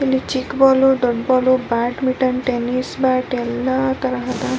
ಇಲ್ಲಿ ಚಿಕ್ಕ್ ಬಾಲ್ ದೊಡ್ಡ್ ball badminton tennis bat ಎಲ್ಲ ತರಹದ.